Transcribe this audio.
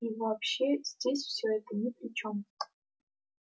и вообще здесь все это ни при чем